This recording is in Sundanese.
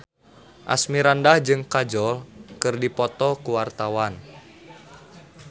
Asmirandah jeung Kajol keur dipoto ku wartawan